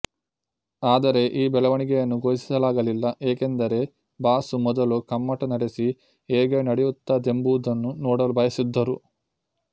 ಆದರೆ ಈ ಬೆಳವಣಿಗೆಯನ್ನು ಘೋಷಿಸಲಾಗಲಿಲ್ಲ ಏಕೆಂದರೆ ಬಾಸು ಮೊದಲು ಕಮ್ಮಟ ನಡೆಸಿ ಹೇಗೆ ನಡೆಯುತ್ತದೆಂಬುದನ್ನು ನೋಡಲು ಬಯಸಿದ್ದರು